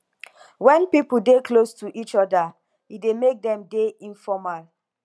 when pipo dey close to each oda e dey make dem dey informal